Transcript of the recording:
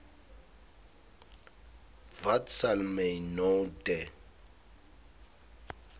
wat sal my nou te